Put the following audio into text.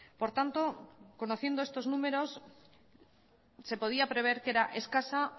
por tanto conociendo estos números se podía prever que era escasa